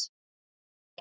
Ég vil ekki.